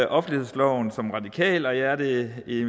offentlighedsloven som radikal og jeg er det i